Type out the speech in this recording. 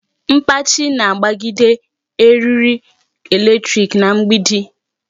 Mkpachi na-agbagide erie electric na mgbidi.